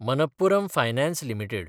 Manappuram finance limited